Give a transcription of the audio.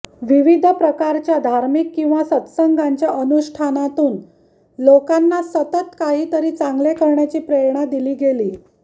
विविध प्रकारच्या धार्मिक किंवा सत्संगांच्या अनुष्ठानातून लोकांना सतत काहीतरी चांगले करण्याची प्रेरणा दिली गेली